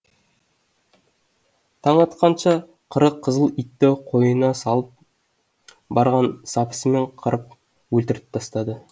таң атқанша қырық қызыл итті қойнына салып барған сапысымен қырып өлтіріп тастады